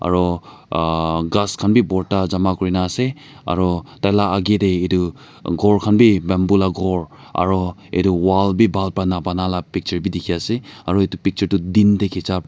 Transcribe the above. aru ah ghas khan bi borta jama kurikena ase aru taila age etu ghor khan bi bamboo la ghor aro etu wall bi bhal para na banalaa picture bi dikhi ase aru etu picture toh din te khicha.